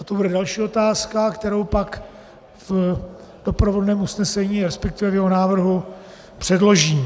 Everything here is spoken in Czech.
A to bude další otázka, kterou pak v doprovodném usnesení, respektive v jeho návrhu předložím.